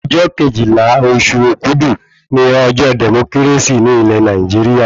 Ọjọ́ Kejìlá oṣù òkudù ni ọjọ́ dẹ̀mókírásì ní ilẹ̀ Nàìjíríà